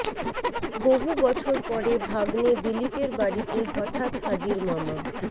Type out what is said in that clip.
বহু বছর পরে ভাগ্নে দিলীপের বাড়িতে হঠাৎ হাজির মামা